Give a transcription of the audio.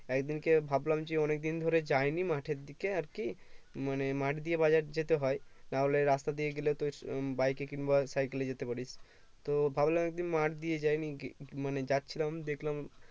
একদিনকে ভাবলাম যে অনেক দিন ধরে যায়নি মাঠের দিকে আরকি মানে মাঠ দিয়ে বাজার যেতে হয় না হলে রাস্তা দিয়ে গেলে তো bike এ কিংবা cycle এ যেতে পারি তো ভাবলাম একদিন মাঠ যাই মানে যাচ্ছিলাম দেখলাম